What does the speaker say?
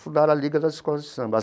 Fundaram a Liga das Escolas de Samba.